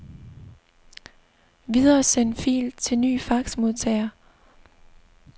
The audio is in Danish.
Videresend fil til ny faxmodtager.